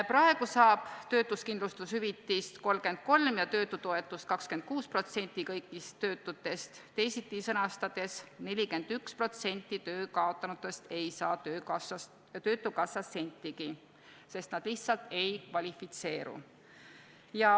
Praegu saab töötuskindlustushüvitist 33% ja töötutoetust 26% kõigist töötutest, teisiti sõnastades 41% töö kaotanutest ei saa töötukassast sentigi, sest nad lihtsalt ei kvalifitseeru.